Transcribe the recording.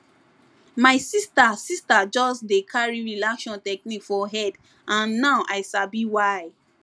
my sister sister just dey carry relaxation technique for head and now i sabi why